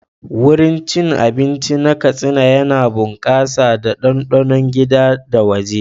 Wurin cin abinci na Katsina yana bunƙasa da ɗanɗanon gida da waje.